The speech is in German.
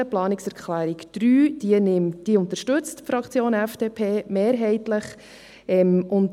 Die Planungserklärung 3 wird von der FDP-Fraktion mehrheitlich unterstützt.